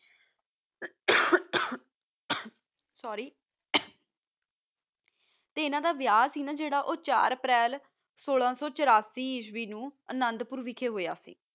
sorry ਅਨਾ ਦਾ ਵਹਾ ਸੀ ਨਾ ਜਰਾ ਏਇਘ੍ਤ ਅਪ੍ਰੈਲ ਸੋਲਾ ਸੋ ਓਨਾਸੀ ਚ ਗੁਰੋ ਚ ਹੋਆ ਸੀ ਹ ਗਾ